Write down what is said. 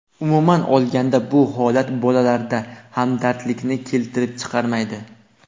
Umuman olganda bu holat bolalarda hamdardlikni keltirib chiqarmaydi.